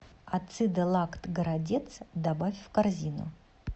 ацидолакт городец добавь в корзину